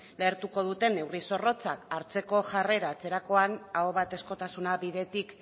lehertuko duten neurri zorrotzak hartzeko jarrera hartzerakoan ahobatezkotasuna bidetik